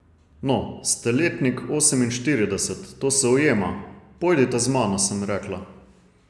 No, ste letnik oseminštirideset, to se ujema, pojdite z mano, sem rekla.